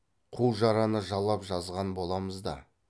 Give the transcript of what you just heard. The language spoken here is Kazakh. қу жараны жалап жазған боламыз да